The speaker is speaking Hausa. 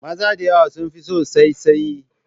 Maza da yawa sun fi san saisaye